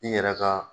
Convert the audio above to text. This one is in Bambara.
I yɛrɛ ka